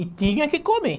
E tinha que comer.